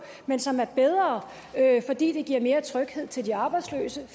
men som er bedre fordi det giver mere tryghed til de arbejdsløse